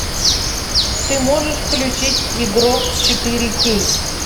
ты можешь включить игрок четыре кей